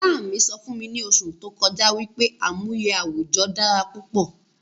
Ìyá mí sọ fún mi ni oṣù tó kọjá wípé àmúyẹ àwùjọ dára púpọ̀